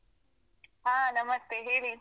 ಆ ನಮಸ್ತೆ ಹೇಳಿ.